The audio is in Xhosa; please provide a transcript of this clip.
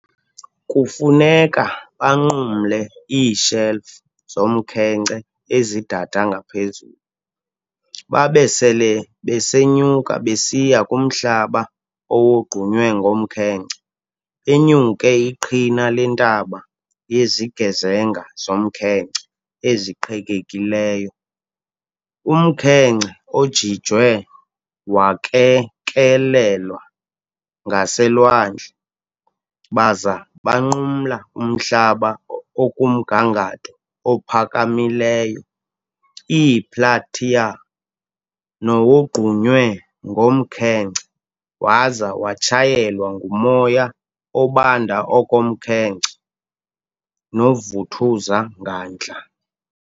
Kufuneka banqumle ii"shelf" zomkhenkce ezi dada ngaphezulu, babe sele besenyuka besiya kumhlaba owogqunywe ngomkhenkce, benyuke iqhina lentaba yezigezenga zomnkhenkce eziqhekekileyo, umkhenkce ojijiwe wakekelelwa ngaselwandle, baza banqumla umhlaba okumgangatho ophakamileyo, i-plateau, nowogqunywe ngomkhenkce waza watshayelwa ngumoya obanda okokomkhenkce noovuthuza ngandla.